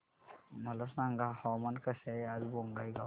मला सांगा हवामान कसे आहे आज बोंगाईगांव चे